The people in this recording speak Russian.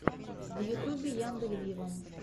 в ютубе яндель виво